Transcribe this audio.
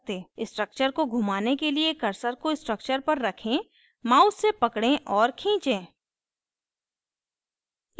structure को घुमाने के लिए cursor को structure पर रखें mouse से पकडे और खींचें